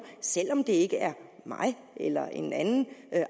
selv om det ikke er mig eller en anden